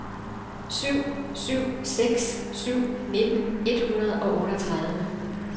syv syv seks syv nitten et hundrede og otteogtredive